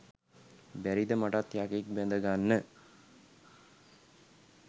බැරිද මටත් යකෙක් බැඳගන්න